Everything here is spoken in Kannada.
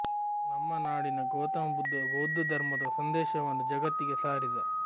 ನಮ್ಮ ನಾಡಿನ ಗೌತಮ ಬುದ್ಧ ಬೌದ್ಧ ಧರ್ಮದ ಸಂದೇಶವನ್ನು ಜಗತ್ತಿಗೆ ಸಾರಿದ